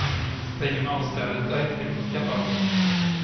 Regionalstödet är inte det viktiga för oss.